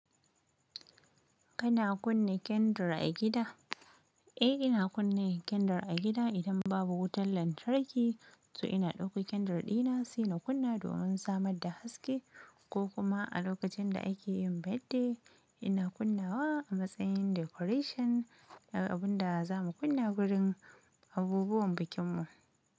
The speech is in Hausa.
Kana kunna candle a gida? Eh, ina kunna candle a gida idan babu wutar lantarki, so ina ɗauko candle dina suna kunna domin samar da haske ko kuma a lokacin da ake yin birthday ina kunnawa a matsayin decoration abunda za mu kunna wurin abubuwan bikin mu.